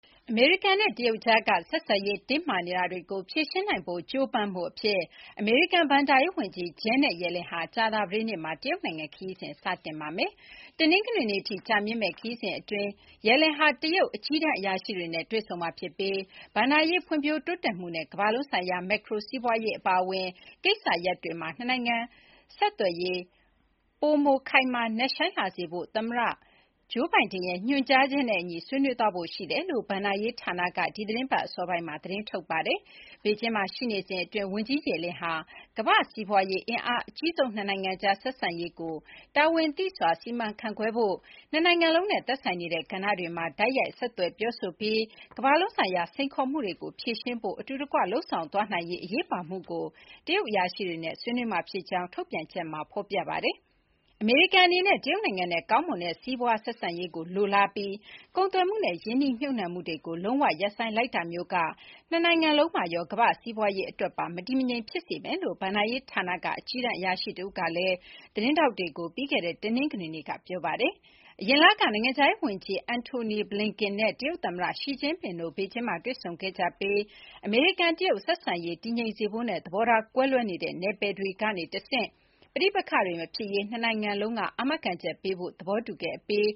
အမေရိကန်နဲ့ တရုတ်ကြား ဆက်ဆံရေး တင်းမာနေတာတွေကို ဖြေရှင်းနိုင်ဖို့ ကြိုးပမ်းမှုအဖြစ် အမေရိကန်ဘဏ္ဍာရေးဝန်ကြီး Janet Yellen ကြာသပတေးနေ့မှာ တရုတ်နိုင်ငံခရီး စတင်ပါမယ်။ တနင်္ဂနွေနေ့အထိ ကြာမြင့်မယ့် ခရီးစဥ် အတွင်းမှာ မစ္စ Yellen ဟာ တရုတ် အကြီးတန်းအရာရှိတွေနဲ့ တွေ့ဆုံမှာ ဖြစ်ပြီးဘဏ္ဍာရေးဖွံ့ဖြိုးတိုးတက်မှုနဲ့ ကမ္ဘာလုံးဆိုင်ရာ မက်ခရိုစီးပွားရေးအပါအဝင် နှစ်နိုင်ငံ ဆက်သွယ်ရေး ပိုမို ခိုင်မာ နက်ရှိုင်းလာစေဖို့ သမ္မတဂျိုးဘိုင်ဒင်ရဲ့ ညွှန်ကြားချက်နဲ့အညီ ဆွေးနွေးသွားဖို့ ရှိတယ်လို့ ဘဏ္ဍာရေးဌာနက ဒီသီတင်းပတ် အစောပိုင်းမှာ သတင်းထုတ်ပြန်ခဲ့ပါတယ်။ "ဘေဂျင်းမှာ ရှိနေစဉ်အတွင်း ဝန်ကြီး Yellen ဟာ ကမ္ဘာ့စီးပွားရေး အင်အားအကြီးဆုံးနှစ်နိုင်ငံကြား ဆက်ဆံရေးကို တာဝန်သိစွာ စီမံခန့်ခွဲဖို့၊ နှစ်နိုင်ငံလုံးနဲ့ သက်ဆိုင်နေတဲ့ ကဏ္ဍတွေမှာ တိုက်ရိုက် ဆက်သွယ်ပြောဆိုပြီး ကမ္ဘာလုံးဆိုင်ရာ စိန်ခေါ်မှုတွေကို ဖြေရှင်းဖို့ အတူတကွ လုပ်ဆောင်သွားနိုင်ရေး အရေးပါမှုကို တရုတ်အရာရှိတွေနဲ့ ဆွေးနွေးမှာဖြစ်ကြောင်း" ထုတ်ပြန်ချက်မှာ ဖော်ပြထားပါတယ်။ “အမေရိကန်အနေနဲ့ တရုတ်နိုင်ငံနဲ့ ကောင်းမွန်တဲ့ စီးပွားဆက်ဆံရေးကိုလိုလားပြီး ကုန်သွယ်မှုနဲ့ ရင်းနှီးမြှုပ်နှံမှုတွေကို လုံးဝရပ်ဆိုင်းလိုက်တာမျိုးက နှစ်နိုင်ငံလုံးမှာရော၊ ကမ္ဘာ့စီးပွားရေးအတွက်ပါ မတည်မငြိမ်ဖြစ်စေမယ်” လို့ ဘဏ္ဍာရေးဌာနက အကြီးတန်းအရာရှိ တဦးကလည်း သတင်းထောက်တွေ ကို ပြီးခဲ့တဲ့ တနင်္ဂနွေနေ့က ပြောထားပါတယ်။ အရင်လက နိုင်ငံခြားရေးဝန်ကြီး အန်ထိုနီဘလန်ကန်နဲ့ တရုတ်သမ္မတ ရှီကျင့်ဖျင့် တို့ ဘေဂျင်းမှာ တွေ့ဆုံခဲ့ကြပြီး အမေရိကန်-တရုတ် ဆက်ဆံရေးကို တည်ငြိမ်စေဖို့နဲ့ သဘောထားကွဲလွဲနေတဲ့ နယ်ပယ်တွေက တဆင့် ပဋိပက္ခတွေ မဖြစ်ရေး နှစ်နိုင်ငံလုံးက အာမခံချက်ပေးဖို့ သဘောတူခဲ့ အပြီး